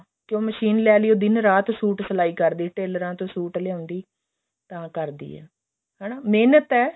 ਕਿਉਂ ਮਸ਼ੀਨ ਲੈ ਲਈ ਉਹ ਦਿਨ ਰਾਤ suit ਸਿਲਾਈ ਕਰਦੀ ਟੈਲਰਾ ਤੋਂ suit ਲਿਆਉਂਦੀ ਤਾ ਕਰਦੀ ਐ ਹਨਾ ਮਿਹਨਤ ਐ